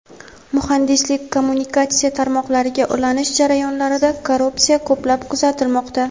muhandislik - kommunikatsiya tarmoqlariga ulanish jarayonlarida korrupsiya ko‘plab kuzatilmoqda.